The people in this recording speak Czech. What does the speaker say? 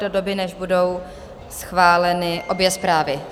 do doby, než budou schváleny obě zprávy.